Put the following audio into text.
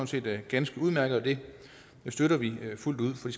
set ganske udmærket det støtter vi fuldt ud for